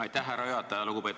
Aitäh, härra juhataja!